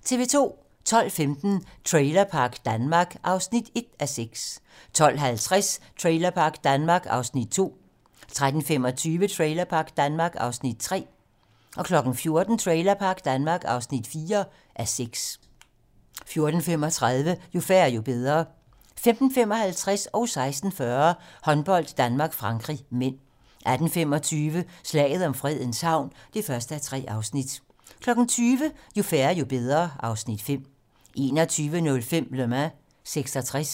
12:15: Trailerpark Danmark (1:6) 12:50: Trailerpark Danmark (2:6) 13:25: Trailerpark Danmark (3:6) 14:00: Trailerpark Danmark (4:6) 14:35: Jo færre, jo bedre 15:55: Håndbold: Danmark-Frankrig (m) 16:40: Håndbold: Danmark-Frankrig (m) 18:25: Slaget om Fredens Havn (1:3) 20:00: Jo færre, jo bedre (Afs. 5) 21:05: Le Mans '66